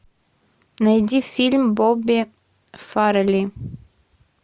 найди фильм бобби фаррелли